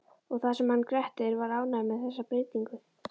Og það sem hann Grettir var ánægður með þessa breytingu!